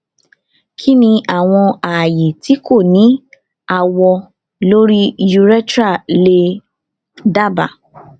kini awọn aaye ti ko ni awọ lori urethra le daba